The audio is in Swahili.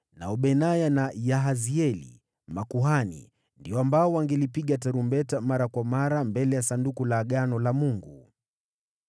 nao Benaya na Yahazieli makuhani, ndio wangepiga tarumbeta mara kwa mara mbele ya Sanduku la Agano la Mungu.